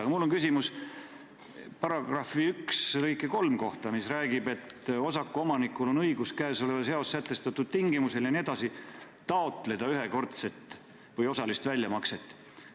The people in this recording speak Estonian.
Aga mul on küsimus § 1 lõike 3 kohta, mis räägib sellest, et osaku omanikul on õigus käesolevas seaduses sätestatud tingimustel taotleda ühekordset või osalist väljamakset.